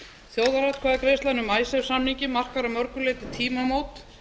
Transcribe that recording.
þjóðaratkvæðagreiðslan um icesave samninginn markar að mörgu leyti tímamót